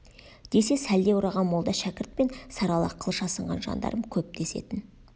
десе сәлде ораған молда шәкірт пен сары ала қылыш асынған жандарм көп десетін